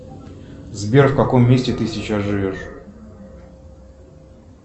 сбер в каком месте ты сейчас живешь